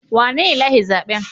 Wanene ya lashe zaɓen?